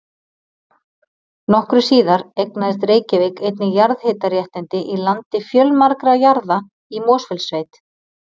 Nokkru síðar eignaðist Reykjavík einnig jarðhitaréttindi í landi fjölmargra jarða í Mosfellssveit.